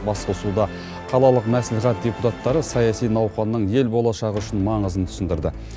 басқосуда қалалық мәслихат депутаттары саяси науқанның ел болашағы үшін маңызын түсіндірді